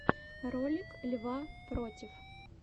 ролик льва против